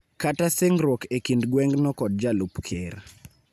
kata singruok e kind gwengno kod Jalup Ker.